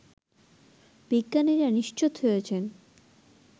বিজ্ঞানীরা নিশ্চিত হয়েছেন